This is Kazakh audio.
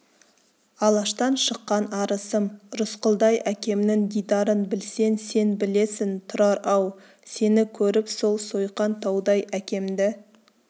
алаштан шыққан арысым рысқұлдай әкемнің дидарын білсең сен білесің тұрар-ау сені көріп сол сойқан таудай әкемді